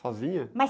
Sozinha?as...